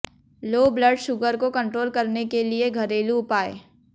लो blood sugar को control करने के लिए घरेलू उपाय